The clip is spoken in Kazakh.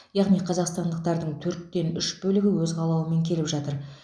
яғни қазақстандықтардың төрттен үш бөлігі өз қалауымен келіп жатыр